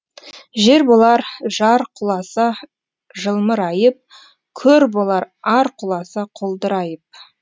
жер болар жар құласа жылмырайып көр болар ар құласа құлдырайып